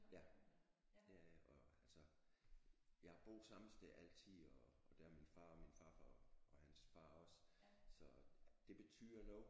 Ja øh øh altså jeg har boet samme sted altid og det har min far og min farfar og hans far også så det betyder noget